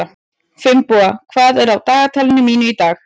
Finnboga, hvað er á dagatalinu mínu í dag?